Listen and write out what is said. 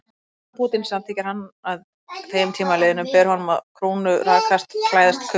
Ef ábótinn samþykkir hann að þeim tíma liðnum, ber honum að krúnurakast og klæðast kufli.